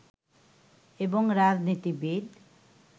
এবং রাজনীতিবিদ